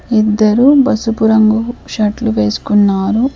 ఇద్దరు పసుపు రంగు షర్ట్లు వేసుకున్నారు.